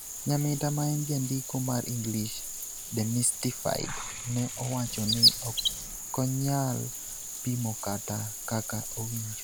Nyamita maen jandiko mar English Demystified ne owacho ni okonyal pimokata kaka owinjo